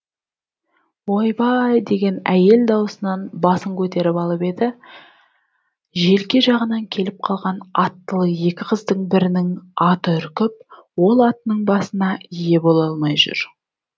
ойбай деген әйел даусынан басын көтеріп алып еді желке жағынан келіп қалған аттылы екі қыздың бірінің аты үркіп ол атының басына ие бола алмай жүр